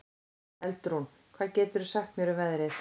Eldrún, hvað geturðu sagt mér um veðrið?